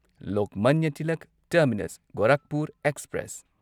Lokmanya Tilak terminus Gorakhpur express